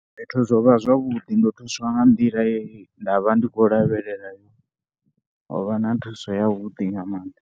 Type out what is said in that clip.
Fhethu zwo vha zwavhuḓi ndo thuswa nga nḓila ye nda vha ndi khou lavhelela. Ho vha na thuso yavhuḓi nga maanḓa.